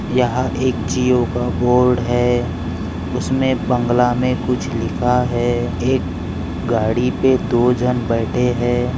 यहाँ एक जियो का बोर्ड है उसमे बंगला मे कुछ लिखा है एक गाड़ी पे दो जण बैठे है।